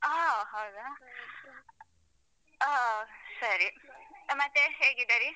ಹ ಹೌದಾ? ಅಹ್ ಸರಿ. ಮತ್ತೆ ಹೇಗಿದ್ದೀರಿ?